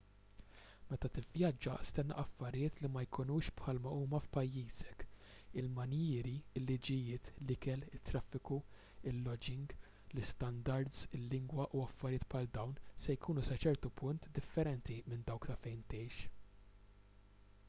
meta tivvjaġġa stenna affarijiet li ma jkunux bħal ma huma f'pajjiżek il-manjieri il-liġijiet l-ikel it-traffiku il-loġing l-istandards il-lingwa u affarijiet bħal dawn se jkunu sa ċertu punt differenti minn dawk ta' fejn tgħix